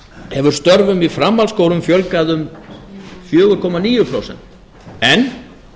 hefur stöfum í framhaldsskólum fjölgað um fjóra komma níu prósent en